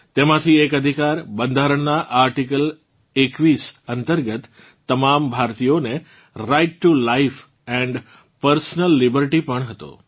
તેમાંથી એક અધિકાર બંધારણનાં આર્ટિકલ 21 અંતર્ગત તમામ ભારતીઓને right to life and personal liberty પણ હતો